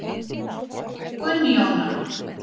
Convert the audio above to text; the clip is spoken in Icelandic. Gunnjóna